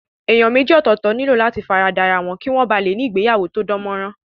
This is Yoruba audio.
Èèyàn méjì ọ̀tọ̀ọ̀tọ̀ nílò láti fara da ra wọn kí wọ́n ba lè ní ìgbéyàwó tó dán mọ́ rán